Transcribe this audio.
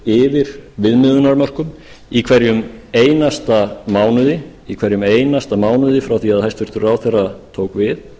verið yfir viðmiðunarmörkum í hverjum einasta mánuði frá því að hæstvirtur ráðherra tók við